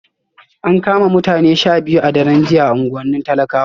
An kama mutane 12 a daren jiya a unguwannin talakawa